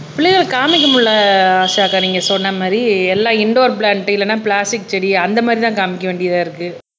பிள்ளைகளை காமிக்க முடியலை ஆஷாக்கா நீங்க சொன்ன மாறி எல்லா இண்டூர் பிளான்ட் இல்லன்னா பிளாஸ்டிக் செடி அந்த மாதிரி தான் காமிக்க வேண்டியதா இருக்கு